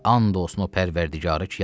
And olsun o Pərvərdigarı ki, yazaram.